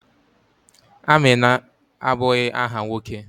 Amina abụghị áhà nwoke.